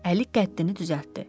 Əli qəddini düzəltdi.